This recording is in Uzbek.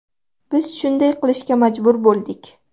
Biz shunday qilishga majbur bo‘ldik.